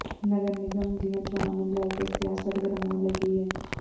ਨਗਰ ਨਿਗਮ ਦੀਆਂ ਚੋਣਾਂ ਨੂੰ ਲੈ ਕੇ ਸਿਆਸਤ ਗਰਮਾਉਣ ਲੱਗੀ ਹੈ